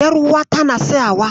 Ƴaruwata na siyawa.